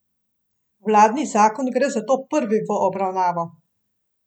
Vladni zakon gre zato prvi v obravnavo.